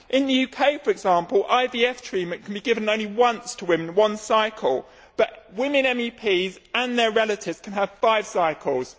In the UK, for example, IVF treatment can be given only once to women one cycle but women MEPs and their relatives can have five cycles.